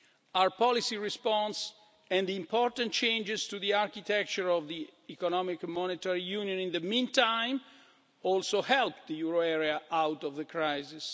euro. Our policy response and the important changes to the architecture of the Economic and Monetary Union in the meantime also helped the euro area out of the crisis.